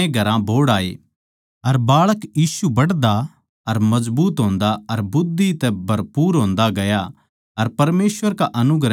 अर बाळक यीशु बढ़दा अर मजबूत होन्दा अर बुद्धि तै भरपूर होंदा गया अर परमेसवर का अनुग्रह उसपै था